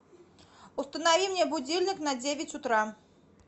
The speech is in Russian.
установи мне будильник на девять утра